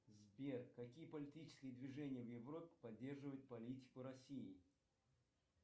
сбер какие политические движения в европе поддерживают политику россии